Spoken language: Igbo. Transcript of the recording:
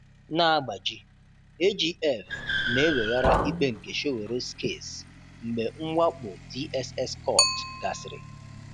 NA-AGBAJI: AGF na-eweghara ikpe nke Sowore's Case Mgbe mwakpo DSS Court gasịrị